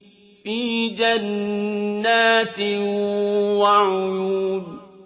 فِي جَنَّاتٍ وَعُيُونٍ